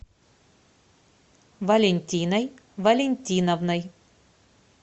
валентиной валентиновной